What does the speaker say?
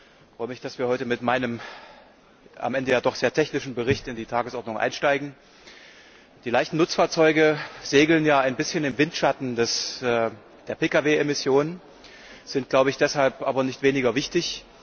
Ich freue mich, dass wir heute mit meinem am Ende ja doch sehr technischen Bericht in die Tagesordnung einsteigen. Die leichten Nutzfahrzeuge segeln ja ein bisschen im Windschatten der Pkw Emissionen, sind deshalb aber nicht weniger wichtig.